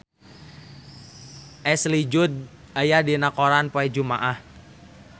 Ashley Judd aya dina koran poe Jumaah